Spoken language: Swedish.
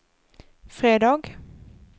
fredag